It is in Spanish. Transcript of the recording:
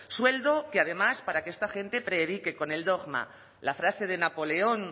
sueldo que además para que esta gente predique con el dogma la frase de napoleón